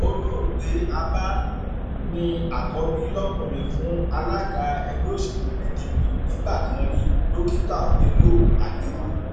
olóògbé abba ní àkọbí lọkùnrin fún alága ẹgbẹ òsèlú pdp nígbà kan rí dókítà bello haliru